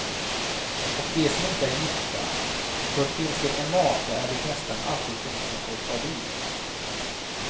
Och de som inte är gifta, för finns det en maka är det nästan alltid hon som får ta vid.